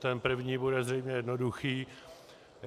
Ten první bude zřejmě jednoduchý.